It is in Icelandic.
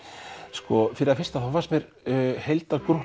sko fyrir það fyrsta fannst mér